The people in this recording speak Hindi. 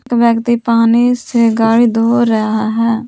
व्यक्ति पानी से गाड़ी धो रहा है।